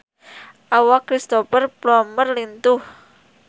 Awak Cristhoper Plumer lintuh